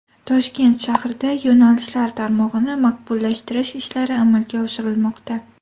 Toshkent shahrida yo‘nalishlar tarmog‘ini maqbullashtirish ishlari amalga oshirilmoqda.